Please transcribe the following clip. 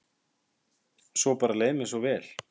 Svo bara leið mér svo vel.